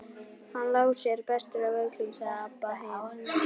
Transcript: Hann Lási er bestur af öllum, sagði Abba hin.